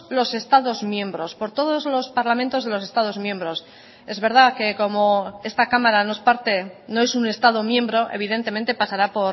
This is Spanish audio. los estados miembros por todos los parlamentos de los estados miembros es verdad que como esta cámara no es parte no es un estado miembro evidentemente pasará